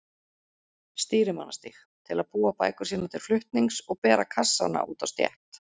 Stýrimannastíg til að búa bækur sínar til flutnings og bera kassana út á stétt.